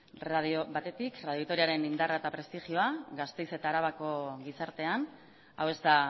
batetik radio vitoriaren indarra eta prestigioa gasteiz eta arabako gizartean hau ez da